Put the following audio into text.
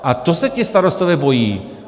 A to se ti starostové bojí.